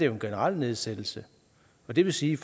en generel nedsættelse det vil sige